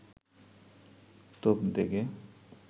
তোপ দেগে